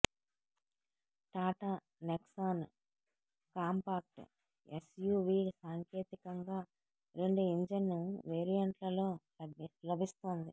Tata Nexon compact SUV సాంకేతికంగా రెండు engine వేరియంట్లలో లభిస్తోంది